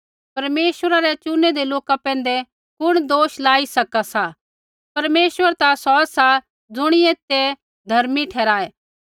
परमेश्वरा रै चुनैदै लोका पैंधै कुण दोष लाई सका सा परमेश्वर ता सौ सा ज़ुणियै तै धर्मी ठहराऐ